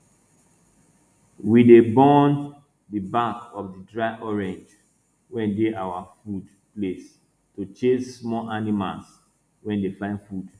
we dey burn di back of di dry orange wey dey our food place to chase small animals wey dey find food